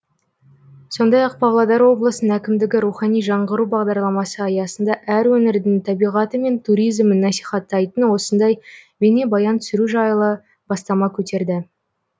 сондай ақ павлодар облысының әкімдігі рухани жаңғыру бағдарламасы аясында әр өңірдің табиғаты мен туризмін насихаттайтын осындай бейнебаян түсіру жайлы бастама көтерді